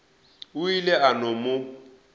o ile a no mo